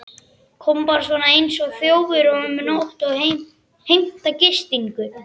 Koma bara svona einsog þjófur um nótt og heimta gistingu?